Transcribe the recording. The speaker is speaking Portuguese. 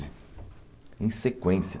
Em sequência.